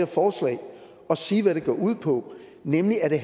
forslag og sige hvad det går ud på nemlig at det